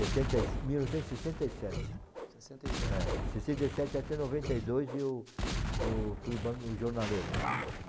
sessenta e, mil novecentos e sessenta e sete. Sessenta e sete. É. Sessenta e sete até noventa e dois, eu hm fui banca de jornaleiro, né.